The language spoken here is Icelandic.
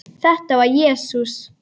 Þetta var Jesús